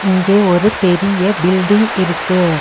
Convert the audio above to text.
இங்கே ஒரு பெரிய பில்டிங் இருக்கு.